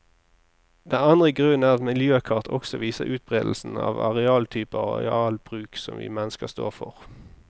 Den andre grunnen er at miljøkart også viser utberedelsen av arealtyper og arealbruk som vi mennesker står for.